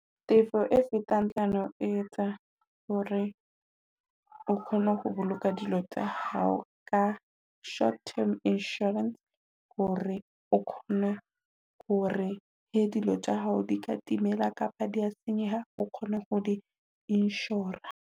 Tefo e fetang hlano etsa hore o kgone ho boloka dilo tsa hao ka short term insurance, hore o kgona hore he dilo tsa hao di ka timela kapa di a senyeha, o kgone ho di insure-a.